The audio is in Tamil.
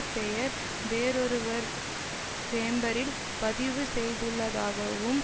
பெயரை வேறொருவர் சேம்பரில் பதிவு செய்துள்ளதாகவும்